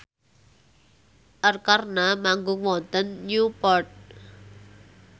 Arkarna manggung wonten Newport